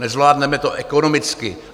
Nezvládneme to ekonomicky.